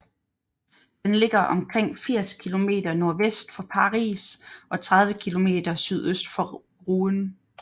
Den ligger omkring 80 km nordvest for Paris og 30 km sydøst for Rouen